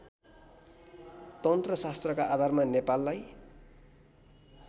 तन्त्रशास्त्रका आधारमा नेपाललाई